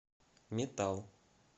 метал